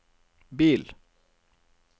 bil